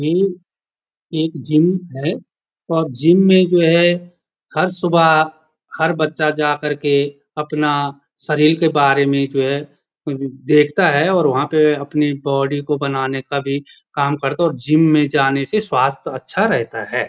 ये एक जिम है और जिम में जो है हर सुबह हर बच्चा जा कर के अपना शरीर के बारे में जो है देखता है और वहाँ पे अपनी बॉडी को बनाने का भी काम करता है और जिम में जाने से स्वास्थ अच्छा रहता है।